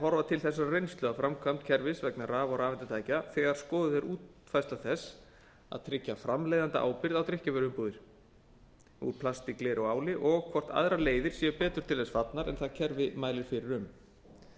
horfa til þessarar reynslu af framkvæmd kerfis vegna raf og rafeindatækja þegar skoðuð er útfærsla þess að tryggja framleiðendaábyrgð á drykkjarvöruumbúðir úr plasti gleri og áli og hvort aðrar leiðir séu betur til þess fallnar en það kerfi mælir fyrir um